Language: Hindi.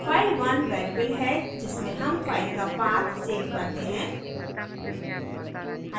file1 variable है जिसमें हम file का path सेव करते हैं